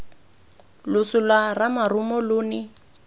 loso lwa ramarumo lo ne